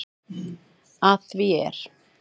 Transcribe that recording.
Að því er